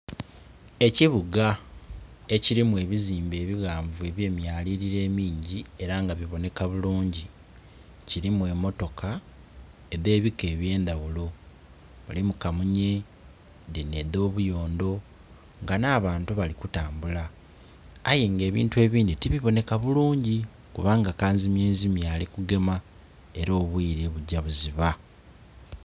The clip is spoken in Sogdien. Ekibuga ekilimu ebizimbe ebighanvu eby'emyalililo emingi ela nga bibonheka bulungi. Kilimu emmotoka edh'ebika eby'endaghulo, mulimu kamunye, dhinho edh'obuyondho, nga nh'abantu bali kutambula aye nga ebintu ebindhi tibibonheka bulungi kubanga kanzimyenzimye ali kugema ela obwiire bugya buziba